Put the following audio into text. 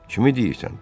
Kimi deyirsən?